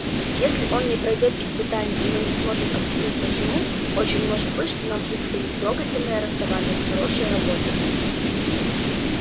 если он не пройдёт испытаний и мы не сможем объяснить почему очень может быть что нам предстоит трогательное расставание с хорошей работой